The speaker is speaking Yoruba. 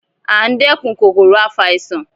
A ń dẹ́kun kòkòrò afàìsàn